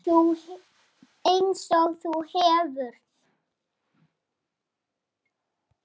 Einsog þú hefur.